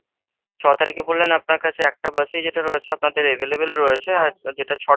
ছ তারিখে বললেন আপনার কাছে একটা bus ই যেটা রয়েছে আপনাদের available রয়েছে। যেটা ছটার,